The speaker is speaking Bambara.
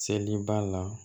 Seliba la